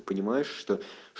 понимаешь что